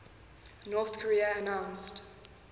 north korea announced